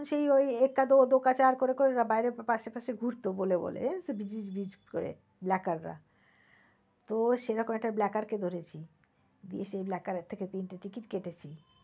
তখন সেই ওই এক কা দো, দো কা চার করে করে ওরা বাইরে পাশে পাশে ঘুরত বলে বলে গিজ গিজ করে blacker রা তো সেরকম এক blacker কে ধরেছি। গিয়ে সেই blacker থেকে তিনটি ticket কেটেছি।